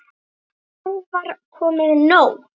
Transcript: En nú var komið nóg.